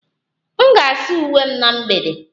M ga-asa uwe m na mgbede